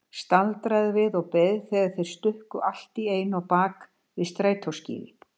Staldraði við og beið þegar þeir stukku allt í einu á bak við strætóskýli.